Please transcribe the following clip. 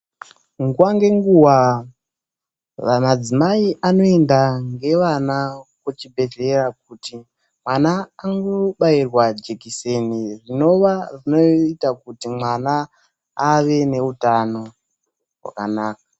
Nguwa ngenguwa, madzimai anoenda nevana kuchibhedhlera kuti mwana andobairwa jekiseni, rinova rinoita kuti mwana ave neutano hwakanaka.